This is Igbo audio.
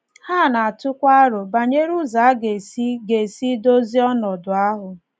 Ha na - atụkwa aro banyere ụzọ a ga - esi ga - esi dozie ọnọdụ ahụ.